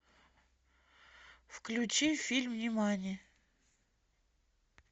включи фильм нимани